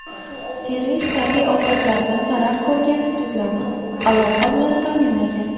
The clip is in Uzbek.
Servis tabiiy ofatlardan zarar ko‘rgan hududlarni aloqa bilan ta’minlagan.